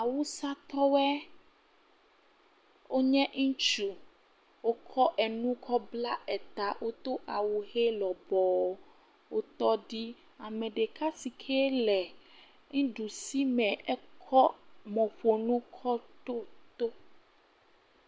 Awusatɔwɔe, wonye ŋutsu, wokɔ enu kɔ bla ta, wodo awu ʋe lɔbɔɔ, wotɔ ɖi, ame ɖeka si ke le nuɖusi me ekɔ mɔƒonu kɔ ɖo to.